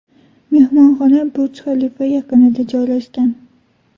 Mehmonxona Burj-Xalifa yaqinida joylashgan.